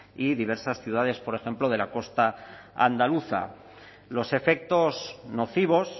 y diversas ciudades por ejemplo de la costa andaluza los efectos nocivos